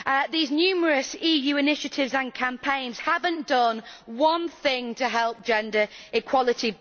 These numerous EU initiatives and campaigns have not done one thing to help gender equality.